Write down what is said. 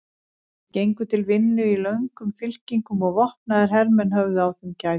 Þeir gengu til vinnu í löngum fylkingum og vopnaðir hermenn höfðu á þeim gætur.